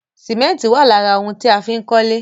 Sìmẹ́ntì wà lára òun tí a fín kólé